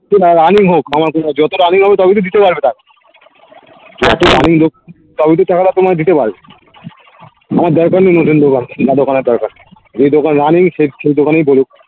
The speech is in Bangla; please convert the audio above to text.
আমি হোক আমার কোনো যতটা আমি হবো দিতে পারবে তারা তবেইতো তোমায় দিতে পারবে আমার দরকার নেই নতুন দোকান না দোকানের দরকার যেই দোকানে সেই সেই দোকান ই বলুক